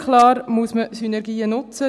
Klar muss man Synergien nutzen.